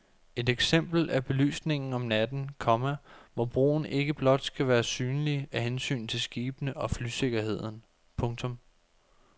Et eksempel er belysningen om natten, komma hvor broen ikke blot skal være synlig af hensyn til skibene og flysikkerheden. punktum